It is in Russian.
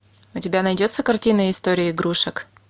у тебя найдется картина история игрушек